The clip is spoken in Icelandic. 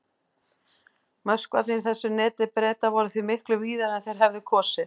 Möskvarnir í þessu neti Breta voru því miklu víðari en þeir hefðu kosið.